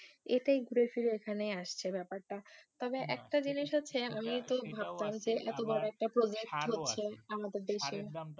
এটাই ঘুরে ফিরে এখানেই আসছে ব্যাপারটা, তবে একটা জিনিস হচ্ছে আমি তো ভাবতাম যে এতো বোরো একটা প্রজেক্ট হচ্ছে আমাদের দেশে